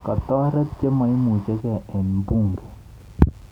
kotaret chememuchigei eng bunge